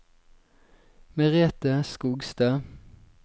Merethe Skogstad